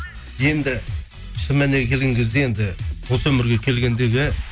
енді шын мәніне келген кезде енді осы өмірге келгендегі